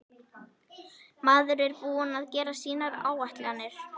Maður er búinn að gera sínar áætlanir.